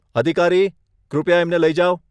અધિકારી, કૃપયા એમને લઇ જાવ.